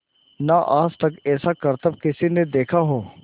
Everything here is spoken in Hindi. ना आज तक ऐसा करतब किसी ने देखा हो